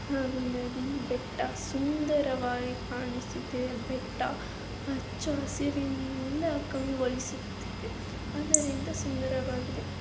ಹಾಗೂ ನದಿ ಬೆಟ್ಟ ಸುಂದವಾಗಿ ಕಾಣಿಸುತ್ತಿದ್ದೆ. ಬೆಟ್ಟ ಹಚ್ಚು ಹಸಿರಿನಿಂದ್ ಕಂಗೂಳಿಸುತಿದೆ ಅದರಿಂದ ಸುಂದರವಾಗಿದೆ.